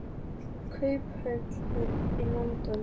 Kauphöllin í London.